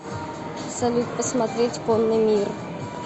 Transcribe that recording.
салют посмотреть конный мир